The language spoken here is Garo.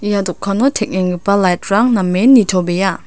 ia dokano teng·enggipa light-rang namen nitobea.